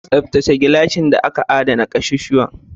Tsaftace gilashin da aka adana ƙasusuwan.